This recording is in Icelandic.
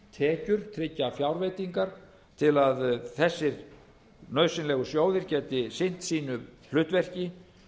tekjur tryggja fjárveitingar til að þessir nauðsynlegu sjóðir geti sinnt sínu hlutverki